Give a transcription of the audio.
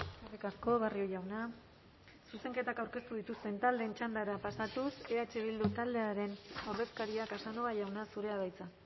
eskerrik asko barrio jauna zuzenketak aurkeztu dituzten taldeen txandara pasatuz eh bildu taldearen ordezkaria casanova jauna zurea da hitza